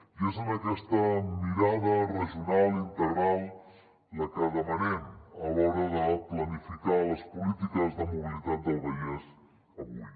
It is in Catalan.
i és aquesta mirada regional integral la que demanem a l’hora de planificar les polítiques de mobilitat del vallès avui